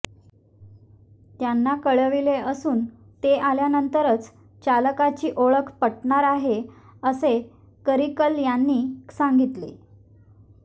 त्यांना कळविले असून ते आल्यानंतरच चालकाची ओळख पटणार आहे असे करिकल यांनी सांगितले